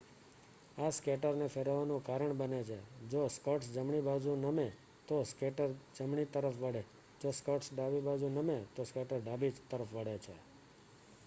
આ સ્કેટર ને ફેરવવાનું કારણ બને છે જો સ્કટસ જમણી બાજુ નમે તો સ્કેટર જમણી તરફ વળે જો સ્કટસ ડાબી બાજુ નમે તો સ્કેટર ડાબી તરફ વળે છે